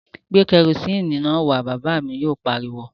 Gbé kerosini náà wá! Bàbá mi yóò pariwo